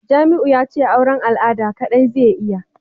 Jamiu yace auran al'ada kadai zai iya